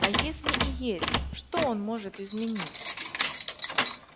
а если и есть что он может изменить